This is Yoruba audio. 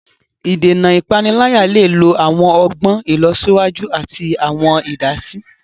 Ìdènà ipanilaya le lo awọn ọgbọn ilọsiwaju ati awọn idasi.